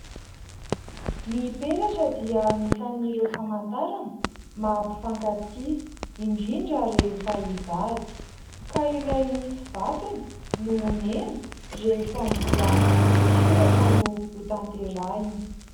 Ny peratra dia anisan'ireo famantarana maha mpifankatia indrindra rehefa hivady ka ilay misy vatony no omena rehefa mbola ny soratra no hotanterahina.